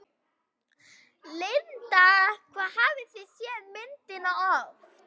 Linda: Hvað hafið þið séð myndina oft?